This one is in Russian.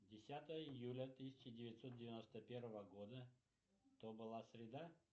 десятое июля тысяча девятьсот девяносто первого года то была среда